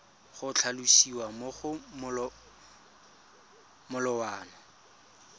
go tlhalosiwa mo go molawana